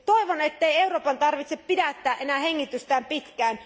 Toivon, ettei Euroopan tarvitse pidättää enää hengitystään pitkään.